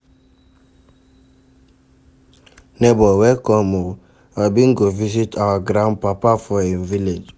Nebor welcome o, I bin go visit our grandpapa for him village.